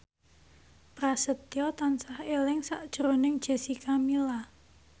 Prasetyo tansah eling sakjroning Jessica Milla